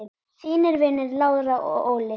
Þínir vinir Lára og Óli.